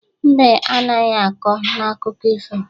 Mbe anaghi akọ n'akụkụ ifo.